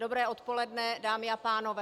Dobré odpoledne, dámy a pánové.